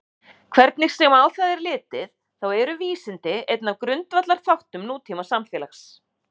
hvernig sem á það er litið þá eru vísindi einn af grundvallarþáttum nútímasamfélags